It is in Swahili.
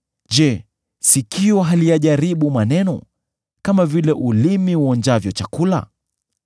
Je, sikio haliyajaribu maneno kama vile ulimi uonjavyo chakula?